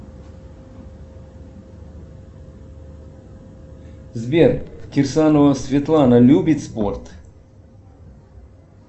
сбер кирсанова светлана любит спорт